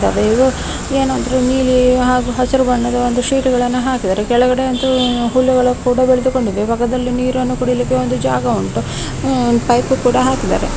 ಇವು ಏನಾದ್ರು ನೀಲಿ ಹಾಗು ಹಸಿರು ಬಣ್ಣದ ಶೀಟ್ ಅನ್ನು ಹಾಕಿದ್ದಾರೆ ಕೆಳಗಡೆ ಅಂತೂ ಹುಲ್ಲುಗಳು ಕೂಡ ಬೆಳೆದುಕೊಂಡಿದೆ ಮತ್ತು ಅದರಲ್ಲಿ ನೀರನ್ನು ಕುಡಿಯಲು ಒಂದು ಜಾಗ ಉಂಟು ಉ ಪೈಪು ಕೂಡ ಹಾಕಿದ್ದಾರೆ.